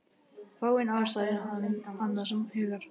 Fáein ár sagði hann annars hugar.